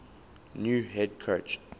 new head coach